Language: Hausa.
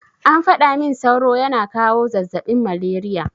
An faɗa min sauro yana kawo zazzaɓin malariya.